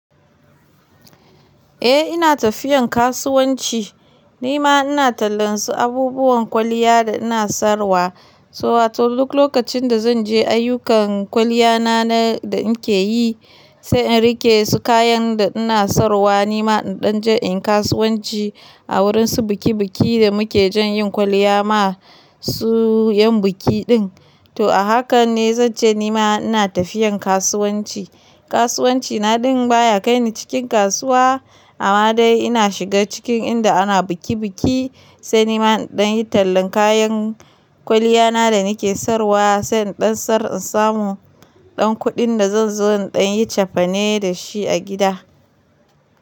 Eh ina tafiyan kasuwanci. Nima ina tallan su abubuwan kwaliya da ina sarwa. So wato duk lokacin da zan je ayyukan kwaliya na da nake yi, sai in rike su kayan da ina sarwa. Nima in ɗan je in kasuwanci a wurin su biki biki da muke jan yin kwaliya ma su yan biki din. To a haka ne zance nima ina tafiyan kasuwanci. Kasuwanci na din baya kai ni cikin kasuwa, amma dai ina shiga cikin inda ana biki biki, sai nima in ɗan yi tallan kayan kwaliya na da nake sarwa, sai in ɗan sarin samu ɗan kuɗin da zan zo ɗan yi cefane da shi a gida.